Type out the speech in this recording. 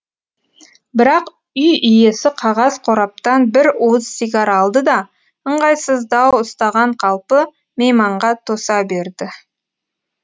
бірақ үй иесі қағаз қораптан бір уыс сигар алды да ыңғайсыздау ұстаған қалпы мейманға тоса берді